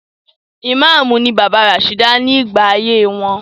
Ìmáàmù ni bàbá Rasheeda ní gbà ayé wọn.